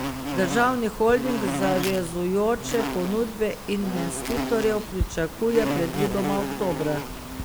Državni holding zavezujoče ponudbe investitorjev pričakuje predvidoma oktobra.